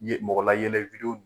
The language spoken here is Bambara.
ye mɔgɔlayɛlɛ